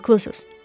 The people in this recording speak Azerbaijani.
Haqlısınız.